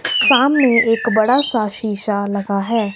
सामने एक बड़ा सा शीशा लगा है।